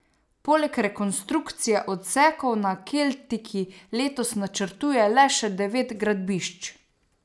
Poleg rekonstrukcije odsekov na keltiki letos načrtuje le še devet gradbišč.